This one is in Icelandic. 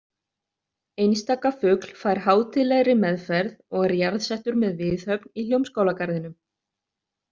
Einstaka fugl fær hátíðlegri meðferð og er jarðsettur með viðhöfn í Hljómskálagarðinum!